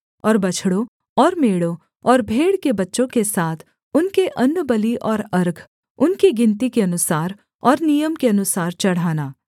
और बछड़ों और मेढ़ों और भेड़ के बच्चों के साथ उनके अन्नबलि और अर्घ उनकी गिनती के अनुसार और नियम के अनुसार चढ़ाना